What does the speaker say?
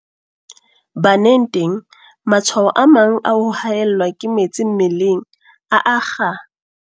Baneng teng, matshwao a mang a ho haellwa ke metsi mmeleng a akga.